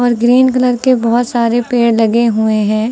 Green colour के बहुत सारे पेड़ लगे हुए हैं।